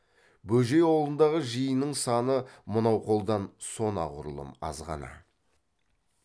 бөжей аулындағы жиынның саны мынау қолдан сонағұрлым азғана